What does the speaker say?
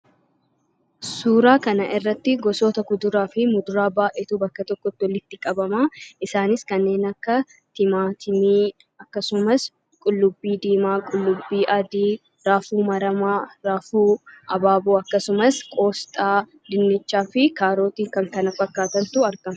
Suuraa kanarratti gosoota kuduraa fi muduraa baay'eetu iddoo tokkotti walitti qabama isaanis timaatimii akkasumas qullubbii diimaa, qullubbii adii , raafuu maramaa, raafuu, abaaboo maramaa, qoosxaa, dinnicha, kaarotii fi kan kana fakkaatantu argama.